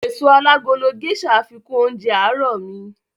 Èso alágolo Gésà fikún oúnjẹ àárọ̀ mi